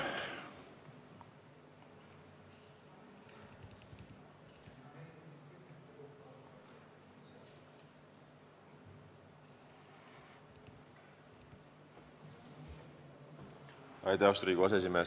Austatud Riigikogu aseesimees!